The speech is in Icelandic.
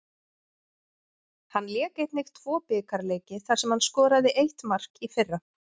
Hann lék einnig tvo bikarleiki þar sem hann skoraði eitt mark í fyrra.